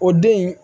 O den in